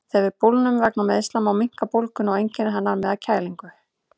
Þegar við bólgnum vegna meiðsla má minnka bólguna og einkenni hennar með að kælingu.